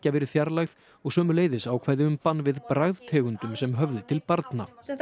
verið fjarlægð og sömuleiðis ákvæði um bann við bragðtegundum sem höfði til barna þetta